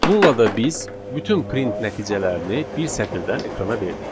Bununla da biz bütün print nəticələrini bir sətirdən ekrana verdik.